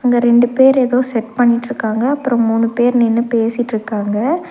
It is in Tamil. அங்க ரெண்டு பேர் ஏதோ செட் பன்னிட்ருக்காங்க அப்றோ மூணு பேரு நின்னு பேசிட்ருக்காங்க.